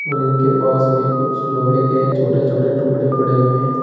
और इनके पास में कुछ लोहे के छोटे छोटे टुकड़े पड़े हुए हैं।